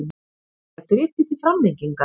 Því var gripið til framlengingar.